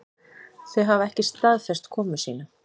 Þau hafa ekki staðfest komu sína